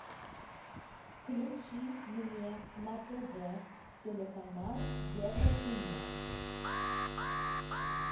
включи мне на тв телеканал еврокино